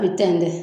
A bɛ tɛntɛn